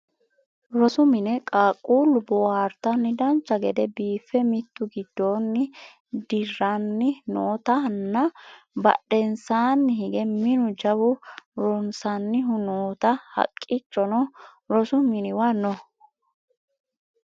rosu mine qaaqquullu boohaartanni dancha gede biiffe mitu giddanni dirranni nootanna badhensaanni hige minu jawu ronsannihu noota haqqichono rosu miniwa no